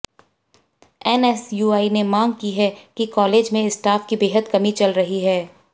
NSUI ने मांग की है कि कालेज में स्टाफ की बेहद कमी चल रही है